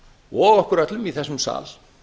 og okkur öllum í þessum sal